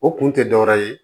O kun tɛ dɔwɛrɛ ye